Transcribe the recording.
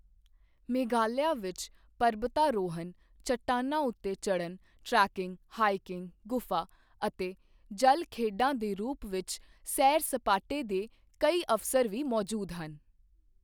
ਮੇਘਾਲਿਆ ਵਿੱਚ ਪਰਬਤਾ ਰੋਹਣ, ਚੱਟਾਨਾਂ ਉੱਤੇ ਚੜ੍ਹਨ, ਟ੍ਰੇਕਿੰਗ, ਹਾਈਕਿੰਗ, ਗੁਫਾ ਅਤੇ ਜਲ ਖੇਡਾਂ ਦੇ ਰੂਪ ਵਿੱਚ ਸੈਰ ਸਪਾਟੇ ਦੇ ਕਈ ਅਵਸਰ ਵੀ ਮੌਜੂਦ ਹਨ।